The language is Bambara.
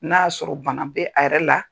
N'a y'a sɔrɔ bana bɛ a yɛrɛ la.